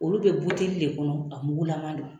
Olu be buteli de kɔnɔ , a mugu laman don.